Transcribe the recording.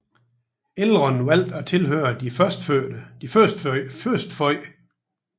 Elrond valgte at tilhøre de Førstefødte